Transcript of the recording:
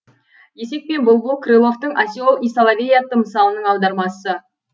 есек пен бұлбұл крыловтың осел и соловей атты мысалының аудармасы